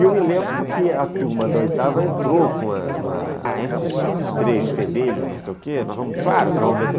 E eu me lembro que a turma da oitava entrou com uma... Ah, esses esses três fedelhos, não sei o quê, claro que nós vamos vencer.